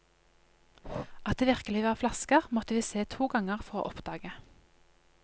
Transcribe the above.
At det virkelig var flasker, måtte vi se to ganger for å oppdage.